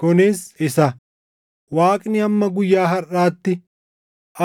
Kunis isa, “Waaqni hamma guyyaa harʼaatti,